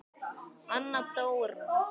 Anna Dóra.